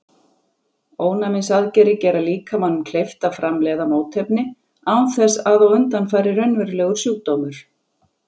Ónæmisaðgerðir gera líkamanum kleift að framleiða mótefni án þess að á undan fari raunverulegur sjúkdómur.